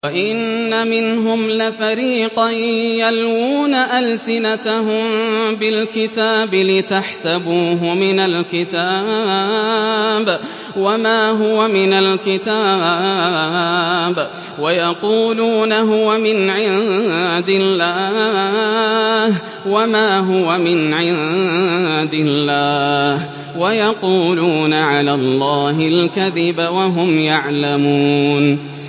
وَإِنَّ مِنْهُمْ لَفَرِيقًا يَلْوُونَ أَلْسِنَتَهُم بِالْكِتَابِ لِتَحْسَبُوهُ مِنَ الْكِتَابِ وَمَا هُوَ مِنَ الْكِتَابِ وَيَقُولُونَ هُوَ مِنْ عِندِ اللَّهِ وَمَا هُوَ مِنْ عِندِ اللَّهِ وَيَقُولُونَ عَلَى اللَّهِ الْكَذِبَ وَهُمْ يَعْلَمُونَ